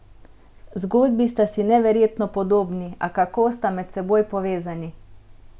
Zgodbi sta si neverjetno podobni, a kako sta med seboj povezani?